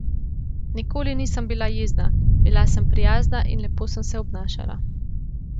Nikoli nisem bila jezna, bila sem prijazna in lepo sem se obnašala.